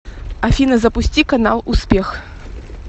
афина запусти канал успех